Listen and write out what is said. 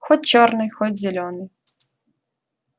хоть чёрный хоть зелёный